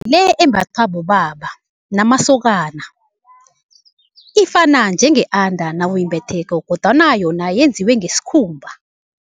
Le embathwa bobaba namasokana ifana njenge-under nawuyimbetheko kodwana yona yenziwe ngesikhumba.